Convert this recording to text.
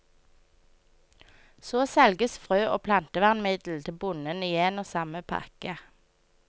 Så selges frø og plantevernmiddel til bonden i en og samme pakke.